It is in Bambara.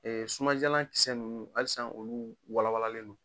Ɛɛ suman diyalan kisɛ ninnu halisa, olu wawalen don.